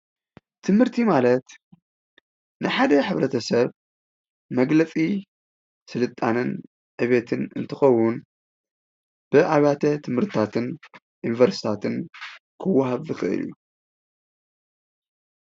ትምህርቲ ማለት ንሓደ ሕብረተሰብ መግለፂ ስልጣነን ዕብየትን እንትኸውን ብኣብያተ ትምህርትታትን ዩኒቨርሲቲታትን ኽወሃብ ዝኽእል እዩ።